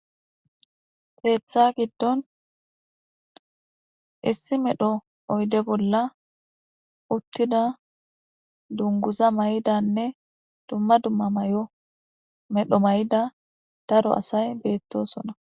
pireetha giddon issi medho oyde bolla uttida dunguza may7idanne dumma dumma may7o medho may7ida daro asay beettosona